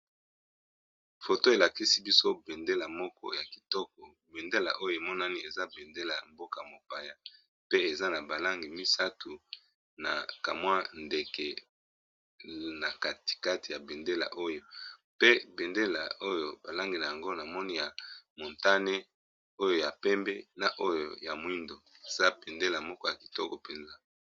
Foto elakisi biso bendela moko ya kitoko bendela oyo emonani eza bendela ya mboka-mopaya pe eza na ba langi misatu na kamwa ndeke na katikati ya bendela oyo pe bendela oyo ba langi na yango na moni ya montane oyo ya pembe na oyo ya moindo eza bendela moko ya kitoko mpenza.